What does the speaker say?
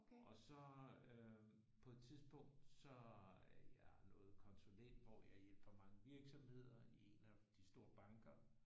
Og så øh på et tidspunkt så er jeg noget konsulent hvor jeg hjælper mange virksomheder i en af de store banker